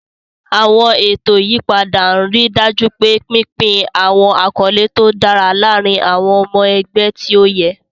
Àwọn ètò ìyípadà ń rí i dájú pé pínpín àwọn àkọlé tó dára láàárín àwọn ọmọ ẹgbẹ́ tí ó yẹ.